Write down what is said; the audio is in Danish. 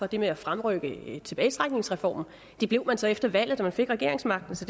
det med at fremrykke tilbagetrækningsreformen det blev man så efter valget da man fik regeringsmagten så